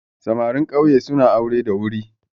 Samarin ƙauye suna aure da wuri